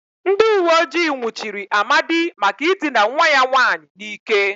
Ndị uweojii nwụchiri Amadi maka ịdịna nwa ya nwaanyị n'ike.